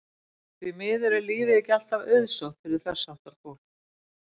Því miður er lífið ekki alltaf auðsótt fyrir þess háttar fólk.